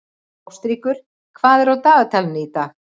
Ástríkur, hvað er á dagatalinu í dag?